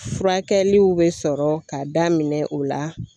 Furakɛliw be sɔrɔ ka daminɛ o la.